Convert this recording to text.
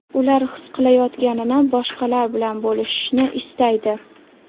Ular his qilayotganini boshqalar bilan bo‘lishishni istaydi.